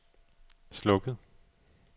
slukket